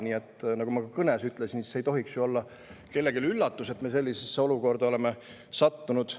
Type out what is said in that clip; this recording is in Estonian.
Nii et nagu ma ka oma kõnes ütlesin, see ei tohiks ju olla kellelegi üllatus, et me sellisesse olukorda oleme sattunud.